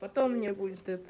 потом не будет